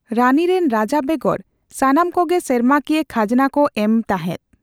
ᱨᱟᱱᱤᱨᱮᱱ ᱨᱟᱡᱟ ᱵᱮᱜᱚᱨ ᱥᱟᱱᱟᱢ ᱠᱚᱜᱮ ᱥᱮᱨᱢᱟᱠᱤᱭᱟᱹ ᱠᱷᱟᱡᱽᱱᱟ ᱠᱚ ᱮᱢ ᱛᱟᱦᱮᱫ ᱾